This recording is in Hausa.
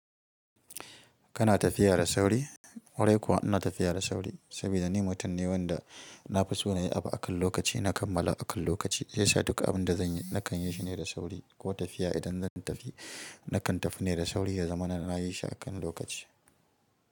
Kana tafiya da sauri? Ƙwarai kuwa ina tafiya da sauri saboda ni mutum ne wanda na fi so na yi abu akan lokaci, na kammala akan lokaci. Yasa duka abin da zan yi nakan yi shi ne da sauri ko tafiya idan zan tafi nakan tafi ne da sauri ya zama na nayi shi akan lokaci.